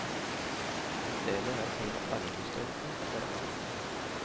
I stedet er selve arvestoffet forandret.